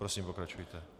Prosím, pokračujte.